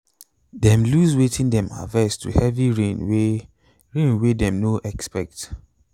them loose wetin them harvest to heavy rain way rain way them no expect